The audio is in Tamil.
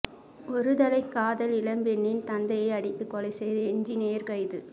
ஒருதலை காதல் இளம்பெண்ணின் தந்தையை அடித்துக்கொலை செய்த என்ஜினீயர் கைது